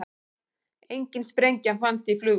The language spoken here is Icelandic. Engin sprengja fannst í flugvél